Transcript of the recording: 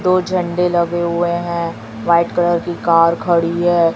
दो झंडे लगे हुए हैं व्हाइट कलर की कार खड़ी है।